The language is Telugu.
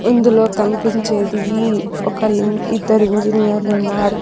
ఇందులో కనిపించేది ఈ ఒక ఇ ఇద్దరు ఇంజినీర్లు ఉన్నారు.